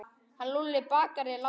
Hann Lúlli bakari er látinn.